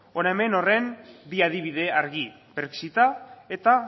hona hemen horren bi adibide argi brexit a eta